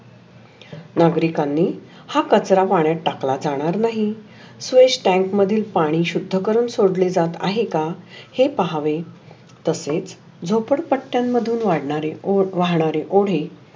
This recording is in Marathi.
नागरीकांनी हा कचरा पाण्यात टाकला जाणार नाही. स्वेष टॅंक मध्ये पाणी शुध्य करुन सोडले जात आहे का? हे पाहावे तसचे झोपडपट्टयान मधुन वाढनारे ओ ओढक वाढणारे ओढे